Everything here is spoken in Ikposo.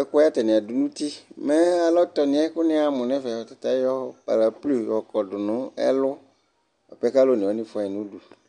ɛkò yɛ atani adu n'uti mɛ alɔ tɔ ni yɛ kò ni ya mo n'ɛfɛ ɔta ta ayɔ paraplui yɔ kɔ do no ɛlu boa pɛ k'alò one wani fua yi n'udu